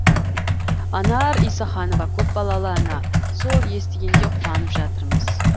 анар исаханова көпбалалы ана сол естігенде қуанып жатырмыз